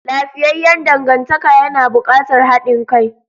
Lafiyayyan dangantaka yana buƙatar haɗin kai.